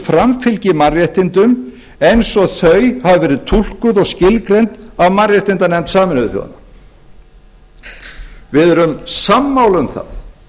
framfylgi mannréttindum eins og þau hafa verið túlkuð og skilgreind af mannréttindanefnd sameinuðu þjóðanna við erum sammála um það